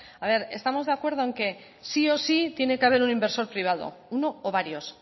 a ver estamos de acuerdo en que sí o sí tiene que haber un inversor privado uno o varios